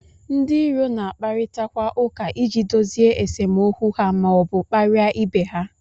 Ndị iro na-akparịtakwa ụka iji dozie esemokwu ha ma ọ bụ kparịa ibe ha